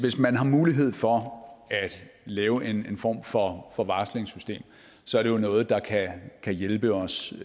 man har mulighed for at lave en form for for varslingssystem så er det jo noget der kan hjælpe os